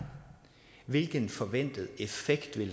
hvilken forventet effekt